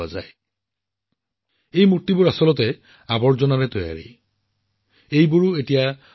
এই প্ৰতিমূৰ্তিবোৰৰ বিশেষত্ব কি জানেনে আচলতে এইবোৰ স্ক্ৰেপৰ পৰা নিৰ্মিত ভাস্কৰ্য্য এক প্ৰকাৰে জাংকৰ পৰা নিৰ্মিত আৰু যিবোৰ অতি আচৰিত